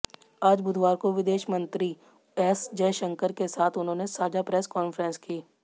आज बुधवार को विदेश मंत्री एस जयशंकर के साथ उन्होंने साझा प्रेस कॉन्फ्रेंस की